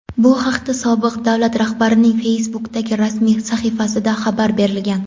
Bu haqda sobiq davlat rahbarining Facebook’dagi rasmiy sahifasida xabar berilgan.